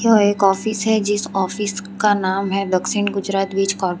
वह एक ऑफिस है जिस ऑफिस का नाम हुआ दक्षिन गुजरात विज कॉरपे--